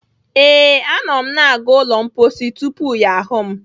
Ee, anọ m na-aga n'ụlọ mposi tupu ya ahụ m..